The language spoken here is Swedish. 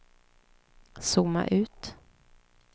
zooma ut